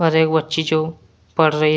एक वच्ची जो पढ़ रही है।